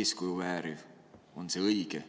eeskuju vääriv, on see õige?